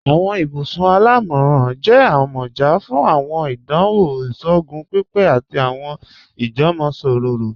Awọn ibùsùn alámọ́ran jẹ̀ àmọ́já fún awọn ìdánwò ìṣòogùn pípé àti awọn ìjúmọ̀sọ̀rọ̀.